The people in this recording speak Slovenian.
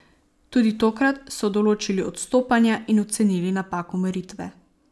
Tudi tokrat so določili odstopanja in ocenili napako meritve.